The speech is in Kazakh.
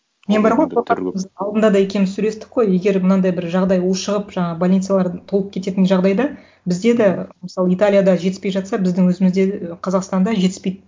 мен бар ғой алдында да екеуіміз сөйлестік қой егер мынандай бір жағдай ушығып жаңа больницалар толып кететін жағдайда бізде де мысалы италияда жетіспей жатса біздің өзімізде ы қазақстанда жетіспейді